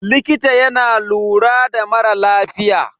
Likita yana lura da mara lafiya.